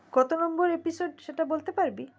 কত number episode সেটা বলতে পারবি